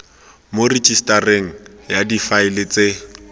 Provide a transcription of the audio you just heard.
mo rejisetareng ya difaele tse